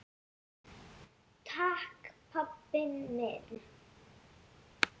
Takk pabbi minn.